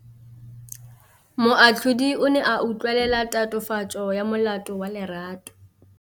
Moatlhodi o ne a utlwelela tatofatsô ya molato wa Lerato.